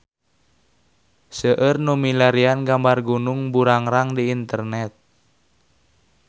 Seueur nu milarian gambar Gunung Burangrang di internet